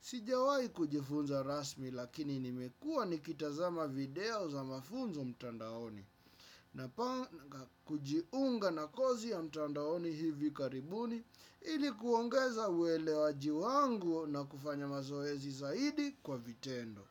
Sijawai kujifunza rasmi lakini nimekuwa nikitazama video za mafunzo mtandaoni. Napanga kujiunga na kozi ya mtandaoni hivi karibuni ili kuongeza uwelewaji wangu na kufanya mazoezi zaidi kwa vitendo.